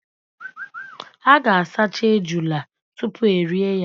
A ga- asacha ejula tupu erie ya.